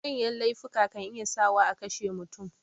Manya laifuka kan iya sa wa akashe mutum